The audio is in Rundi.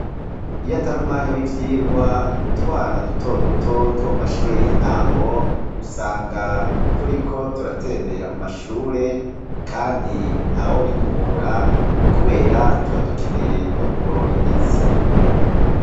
Iyo atari umwanya w'ivyirwa, utwana duto duto two mu mashure y'intango, usanga turiko turatembera mu mashure, kandi ntawobiduhora kubera tuba dukeneye no kugorora imitsi.